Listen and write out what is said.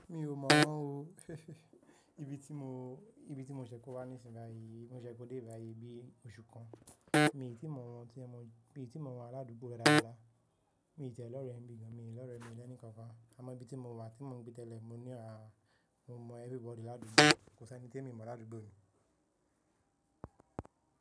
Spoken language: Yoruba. Mi ò mọ̀ o. Ibi tí mo, ibi tí mo ṣẹ̀ kó wá nísinsìnyí, mo ṣẹ̀ kó dé ibi yìí bí oṣù kan. Èmi tí mọ̀ wọ́n tí mọ̀, èmi tí mọ̀ wọ́n ládùúgbò ẹ̀dà àgbá. Èmi tẹ̀lé ọ̀rẹ́ mi gan, èmi tẹ̀lé ọ̀rẹ́ mi lẹ́níkan kan. Àmọ́ ibi tí mo wà tí mo ń gbé tẹ́lẹ̀, mo ní à á, mo mọ everybody ládùúgbò. Kò sí ẹni tí èmi mọ̀ ládùúgbò mi.